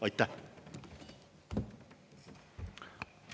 Aitäh!